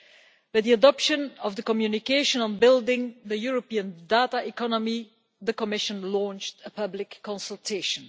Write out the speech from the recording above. With the adoption of the communication on building the European Data Economy, the Commission launched a public consultation.